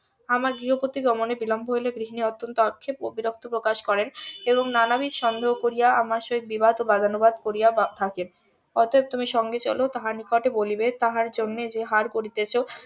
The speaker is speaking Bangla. আমার গৃহ পতি গমনে বিলম্ব হইলে গৃহিনী অত্যন্ত আক্ষেপ ও বিরক্ত প্রকাশ করেন এবং নানাবিধ সন্দেহ করিয়া আমার সহিত বিবাদ ও বাদানুবাদ করিয়া থাকেন অতএব তুমি সঙ্গে চলো তুমি তাহার নিকট এ বলিবে তাহার জন্য যে হার করিতেছ